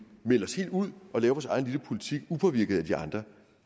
melde os helt ud og lave vores egen lille politik upåvirket af de andre